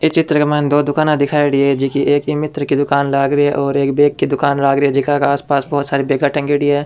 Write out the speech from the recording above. ई चित्र के मायने दो दुकाना दिखायेडी है जकी एक ईमित्र की दुकान लाग री है और एक बैग की दुकान लाग री है जका के आसपास बहुत सारी बेगा टंगयोड़ी है।